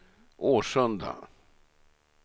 Årsunda